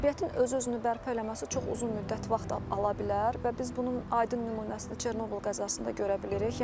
Təbiətin öz-özünü bərpa eləməsi çox uzun müddət vaxt ala bilər və biz bunun aidin nümunəsini Çernobıl qəzasında görə bilirik.